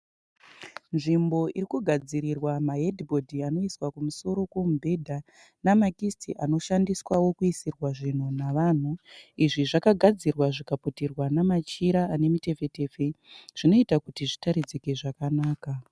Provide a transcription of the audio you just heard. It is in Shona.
Nzvimbo irikugadzirwa mahedhi bhodhi anoswa kumusoro komubhedha nemakisiti anoshandiswawo kuisirwa zvinhu navanhu. Izvi zvakagadzirwa zvikaputirwa namachira ane mutepfetepfe zvinoita kuti zvitaridzike zvakanaka.